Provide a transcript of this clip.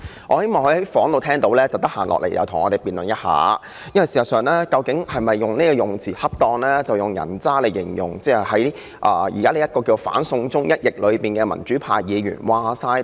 我希望他在辦公室聽到我的發言後，有時間便來跟我們辯論一下，他用"人渣"來形容反"送中"的民主派議員是否恰當。